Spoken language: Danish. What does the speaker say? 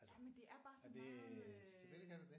Jamen det er bare så meget øh